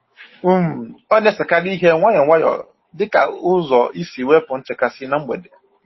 um Ọ na-esekarị ihe nwayọ nwayọ dịka ụzọ isi wepụ nchekasị na mgbede.